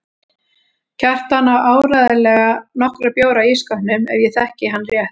Kjartan á áreiðanlega nokkra bjóra í ísskápnum ef ég þekki hann rétt.